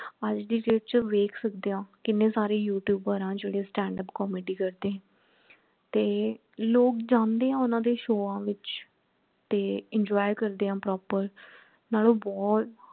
ਅੱਜ ਦੀ date ਚ ਵੇਖ ਸਕਦੇ ਹਾਂ ਕੀਨੇ ਸਾਰੇ youtuber ਹੈ ਜੇਡੇ standup comedy ਕਰਦੇ ਹੈ ਤੇ ਲੋਗ ਜਾਂਦੇ ਹੈ ਉਹਨਾਂ ਦੇ ਸ਼ੋਆਂ ਵਿੱਚ ਤੇ enjoy ਕਰਦੇ ਹੈ proper ਨਾਲੋਂ ਬਹੁਤ